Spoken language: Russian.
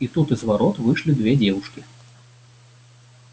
и тут из ворот вышли две девушки